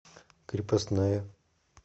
крепостная